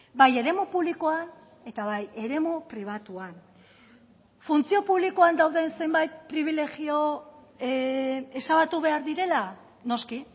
bai eremu publikoan eta bai eremu pribatuan funtzio publikoan dauden zenbait pribilegio ezabatu behar direla noski